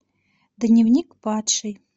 дневник падшей